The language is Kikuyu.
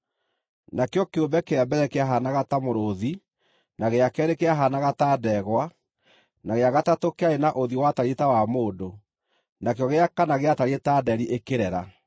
Nakĩo kĩũmbe kĩa mbere kĩahaanaga ta mũrũũthi, na gĩa keerĩ kĩahaanaga ta ndegwa, na gĩa gatatũ kĩarĩ na ũthiũ watariĩ ta wa mũndũ, nakĩo gĩa kana gĩatariĩ ta nderi ĩkĩrera.